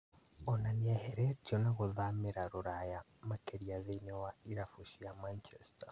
Ona nĩeheretio na gũthamĩra Rũraya makĩria thĩinĩ wa irabu cia Manchester